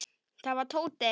Það var Tóti.